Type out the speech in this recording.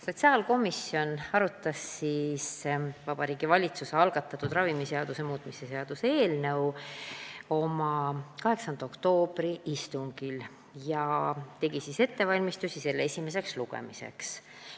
Sotsiaalkomisjon arutas Vabariigi Valitsuse algatatud ravimiseaduse muutmise seaduse eelnõu oma 8. oktoobri istungil ja tegi ettevalmistusi selle esimeseks lugemiseks.